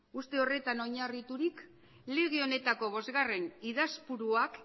uste horretan oinarriturik lege honetako bosgarren idazpuruak